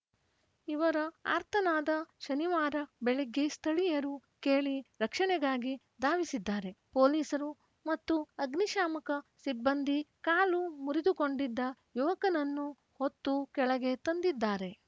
ಇವರ ಆರ್ತನಾದ ಶನಿವಾರ ಬೆಳಗ್ಗೆ ಸ್ಥಳೀಯರು ಕೇಳಿ ರಕ್ಷಣೆಗಾಗಿ ಧಾವಿಸಿದ್ದಾರೆ ಪೊಲೀಸರು ಮತ್ತು ಅಗ್ನಿಶಾಮಕ ಸಿಬ್ಬಂದಿ ಕಾಲು ಮುರಿದುಕೊಂಡಿದ್ದ ಯುವಕನನ್ನು ಹೊತ್ತು ಕೆಳಗೆ ತಂದಿದ್ದಾರೆ